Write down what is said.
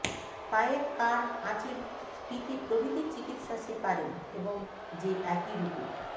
পায়ের কাড় আঁচিল স্ফীতি প্রভৃতির চিকিত্সা সে পারেন এবং যে একইরূপে